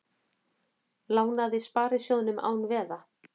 Lánaði sparisjóðum án veða